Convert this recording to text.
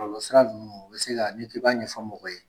Bɔlɔlɔ sira ninnu u bɛ se ka, ni ke b'a ɲɛfɔ mɔgɔ ye